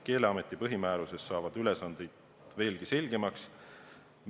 Keeleameti põhimääruses saavad ülesanded veelgi selgemaks.